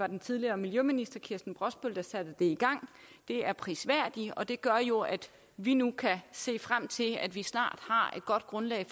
den tidligere miljøminister kirsten brosbøl der satte det i gang det er prisværdigt og det gør jo at vi nu kan se frem til at vi snart har et godt grundlag